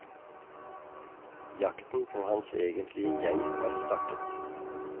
Jakten på hans egentlige jeg har startet.